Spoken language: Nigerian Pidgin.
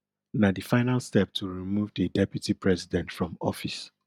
na di final step to remove di deputy president from office